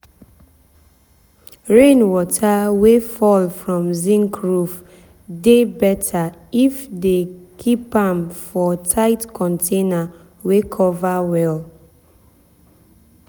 rain water wey fall from zinc roof dey better if dem keep am for tight container wey cover well.